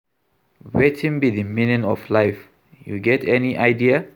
Wetin be di meaning of life, you get any idea?